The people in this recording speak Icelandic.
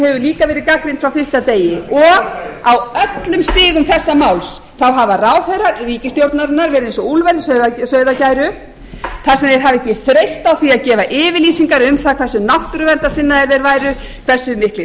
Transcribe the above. hefur líka verið gagnrýnd frá fyrsta degi og á öllum stigum þessa máls hafa ráðherrar ríkisstjórnarinnar verið eins og úlfur í sauðargæru þar sem þeir hafa ekki þreyst á því að gefa yfirlýsingar um það hversu miklir náttúruverndarsinnar þeir væru hversu miklir útivistarmenn þeir væru